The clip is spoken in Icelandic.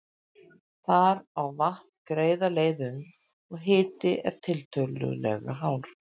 Þar á vatn greiða leið um, og hiti er tiltölulega hár.